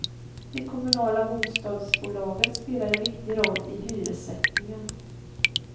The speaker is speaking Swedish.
De kommunala bostadsbolagen spelar en viktig roll i hyressättningen.